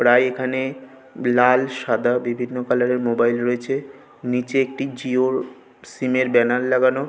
প্রায় এখানে-এ লাল সাদা ও বিভিন্ন কালার -এর মোবাইল রয়েছে নিচে একটি জিও -ওর সিম -এর ব্যানার লাগানো।